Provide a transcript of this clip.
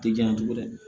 Tɛ diya cogo di